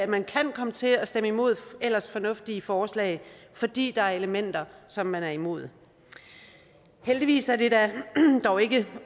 man kan komme til at stemme imod ellers fornuftige forslag fordi der er elementer som man er imod heldigvis er det dog ikke